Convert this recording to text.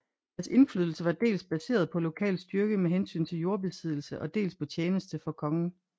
Deres indflydelse var dels baseret på lokal styrke med hensyn til jordbesiddelse og dels på tjeneste for kongen